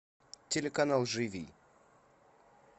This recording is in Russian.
телеканал живи